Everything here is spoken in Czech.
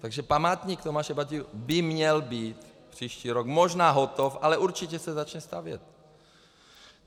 Takže památník Tomáše Bati by měl být příští rok možná hotov, ale určitě se začne stavět.